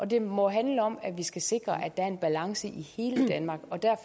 det må handle om at vi skal sikre at der er en balance i hele danmark